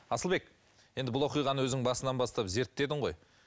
асылбек енді бұл оқиғаны өзің басынан бастап зерттедің ғой